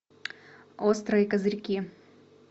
острые козырьки